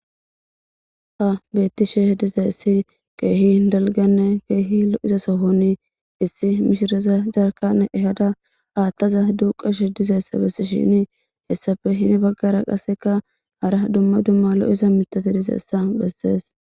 ha beettishe dizaessi keehi dalganne keehi loi'iza sohoni issi mishreza garkan ehada haattaza duuqashe dizaessa bessi shini hessafe hini baggara qasseka hara dumma dumma lo'iza mitate dizeessa bessees